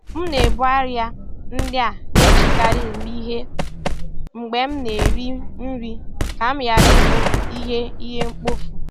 M na-ebu arịa ndị a na-ejikarị eme ihe mgbe m na-eri nri ka m ghara ị bụ ihe ihe mkpofu.